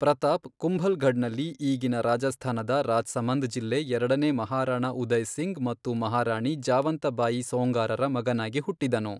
Pratap Kumbhalgarh ನಲ್ಲಿ ಈಗಿನ ರಾಜಸ್ಥಾನದ ರಾಜ್ಸಮಂದ್ ಜಿಲ್ಲೆ ಎರಡನೇ ಮಹಾರಾಣಾ ಉದಯ್ ಸಿಂಗ್ ಮತ್ತು ಮಹಾರಾಣಿ ಜಾವಂತ ಬಾಯಿ ಸೊಂಗಾರರ ಮಗನಾಗಿ ಹುಟ್ಟಿದನು.